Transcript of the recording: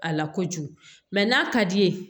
A la kojugu mɛ n'a ka d'i ye